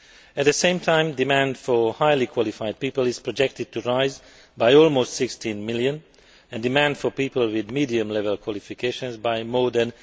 At the same time, demand for highly qualified people is projected to rise by almost 16 million and demand for people with medium level qualifications by more than